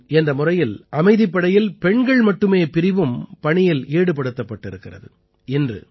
mission என்ற முறையில் அமைதிப்படையில் பெண்கள் மட்டுமே பிரிவும் பணியில் ஈடுபடுத்தப்பட்டிருக்கிறது